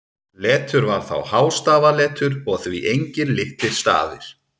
Letur var þá hástafaletur og því engir litlir stafir.